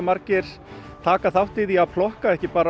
margir taka þátt í því að plokka ekki bara